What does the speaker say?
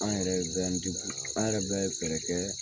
An yɛrɛ b'an an bɛ fɛɛrɛ kɛ